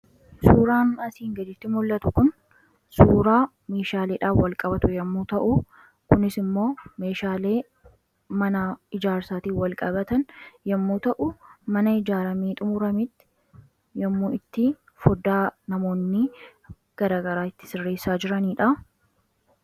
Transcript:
suuraan asiin gaditti mul'atu kun, suuraa meeshaaleedha wal qabatu yommuu ta'u kunis immoo meeshaalee mana ijaarsaatii wal qabatan yommuu ta'u mana ijaaramee xumuramitti yommuu itti foddaa namoonni garagaraa itti sirreessaa jiraniidha.